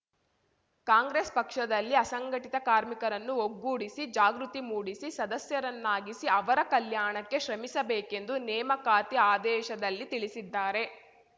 ಕಾಂಗ್ರೆಸ್‌ ಪಕ್ಷದಲ್ಲಿ ಅಸಂಘಟಿತ ಕಾರ್ಮಿಕರನ್ನು ಒಗ್ಗೂಡಿಸಿ ಜಾಗೃತಿ ಮೂಡಿಸಿ ಸದಸ್ಯರನ್ನಾಗಿಸಿ ಅವರ ಕಲ್ಯಾಣಕ್ಕೆ ಶ್ರಮಿಸಬೇಕೆಂದು ನೇಮಕಾತಿ ಆದೇಶದಲ್ಲಿ ತಿಳಿಸಿದ್ದಾರೆ